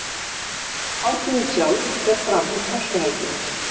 Hátíðin sjálf fer fram um Páskahelgina